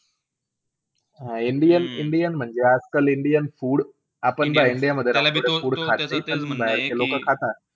हा indian indian म्हणजे, आजकाल indian food. आपण पाय, इंडियामध्ये राहून ते food खात नई पण बाहेरचे लोक खाता.